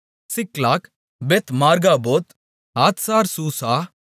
சிக்லாக் பெத்மார்காபோத் ஆத்சார்சூசா